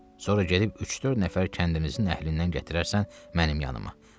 Sonra gedib üç-dörd nəfər kəndimizin əhlindən gətirərsən mənim yanıma.